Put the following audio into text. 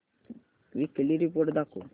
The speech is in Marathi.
वीकली रिपोर्ट दाखव